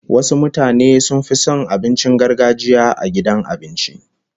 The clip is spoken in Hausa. Wasu mutane sun fi son abincin gargajiya a gidan abinci